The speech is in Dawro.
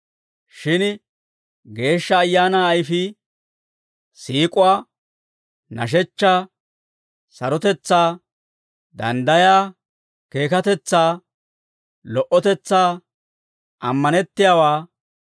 Shin Geeshsha Ayaanaa ayfii, siik'uwaa, nashechchaa, sarotetsaa, danddayaa, keekatetsaa, lo"otetsaa, ammanettiyaawaa,